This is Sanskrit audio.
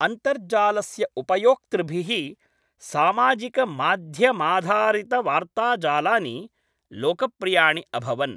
अन्तर्जालस्य उपयोक्तृभिः, सामाजिकमाध्यमाधारितवार्ताजालानि लोकप्रियाणि अभवन्।